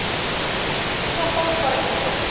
Svo fór bara sem fór.